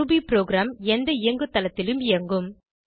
Ruby program எந்த இயங்குதளத்திலும் இயங்கும்